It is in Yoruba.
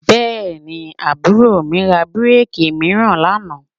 Bẹ́ẹ̀ni, àbúrò mi ra bíréèkì mìíràn lánàá